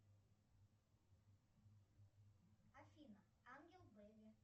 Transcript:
афина ангел бэби